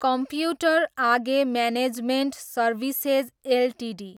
computer age management services Ltd